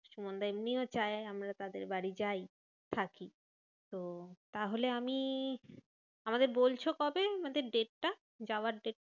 সুমানদা এমনিও চায় আমরা তাদের বাড়ি যাই থাকি। তো তাহলে আমি, আমাদের বলছো কবে আমাদের date টা যাওয়ার date টা?